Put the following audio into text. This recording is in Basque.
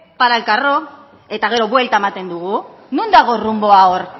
para el carro eta gero buelta ematen dugu non dago runboa hor